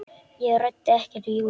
Ég ræddi ekkert við Júlíu.